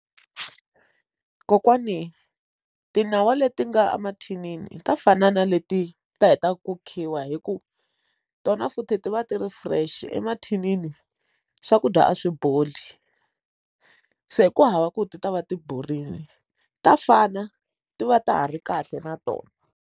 Kokwani tinyawa leti nga mathinini ta fana na leti ti hetaka ku khiwa hikuva tona futhi ti va ti ri fresh emathinini swakudya a swi boli se ku hava ku ti ta va ti borile ta fana ti va ta ha ri kahle na tona.